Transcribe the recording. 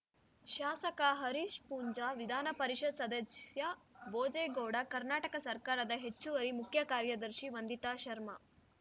ಶಾಸಕ ಹರೀಶ್ ಪೂಂಜ ವಿಧಾನ ಪರಿಷತ್ ಸದಸ್ಯ ಭೋಜೆ ಗೌಡ ಕರ್ನಾಟಕ ಸರ್ಕಾರದ ಹೆಚ್ಚುವರಿ ಮುಖ್ಯ ಕಾರ್ಯದರ್ಶಿ ವಂದಿತಾ ಶರ್ಮ